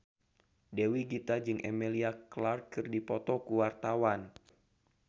Dewi Gita jeung Emilia Clarke keur dipoto ku wartawan